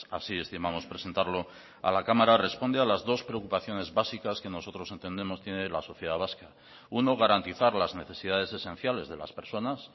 así estimamos presentarlo a la cámara responde a las dos preocupaciones básicas que nosotros entendemos tiene la sociedad vasca uno garantizar las necesidades esenciales de las personas